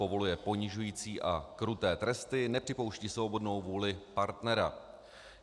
povoluje ponižující a kruté tresty, nepřipouští svobodnou vůli partnera.